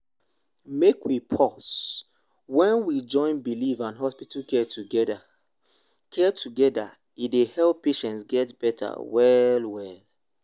make we pause — when we join belief and hospital care together care together e dey help patients get better well-well.